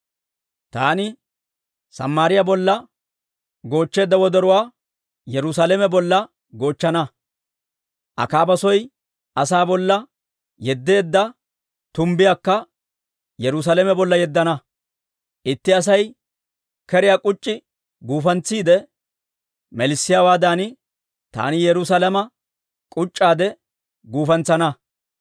Taani Samaariyaa bolla goochcheedda wodoruwaa, Yerusaalame bolla goochchana; Akaaba soy asaa bolla yeddeedda tumbbiyaakka, Yerusaalame bolla yeddana. Itti Asay keriyaa k'uc'c'i guufantsiide melissiyaawaadan, taani Yerusaalame k'uc'c'aade gufantsana.